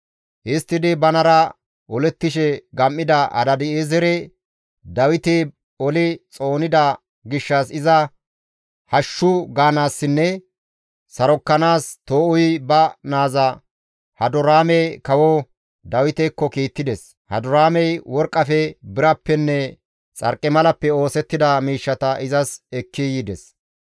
Histtidi banara olettishe gam7ida Hadaadi7eezere Dawiti oli xoonida gishshas iza hashshu gaanaassinne sarokkanaas Too7uyi ba naaza Hadoraame kawo Dawitekko kiittides; Hadoraamey worqqafe, birappenne xarqimalappe oosettida miishshata izas ekki yides.